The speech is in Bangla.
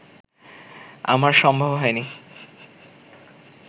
আমার সম্ভব হয়নি